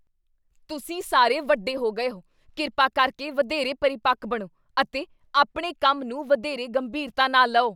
ਤੁਸੀਂ ਸਾਰੇ ਵੱਡੇ ਹੋ ਗਏ ਹੋ! ਕਿਰਪਾ ਕਰਕੇ ਵਧੇਰੇ ਪਰਿਪੱਕ ਬਣੋ ਅਤੇ ਆਪਣੇ ਕੰਮ ਨੂੰ ਵਧੇਰੇ ਗੰਭੀਰਤਾ ਨਾਲ ਲਓ।